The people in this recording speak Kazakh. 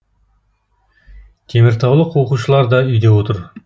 теміртаулық оқушылар да үйде отыр